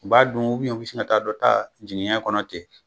U b'a dun u bɛn u bi sin ka taa dɔ taa jinɛnɛ kɔnɔ ten